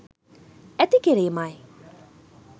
ඇති කිරීමයි.